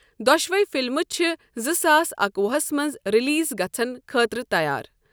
دۄشوے فلمہٕ چھِ زٕ ساس اکوُہہَس منٛز ریلیز گژھن خٲطرٕ تیار۔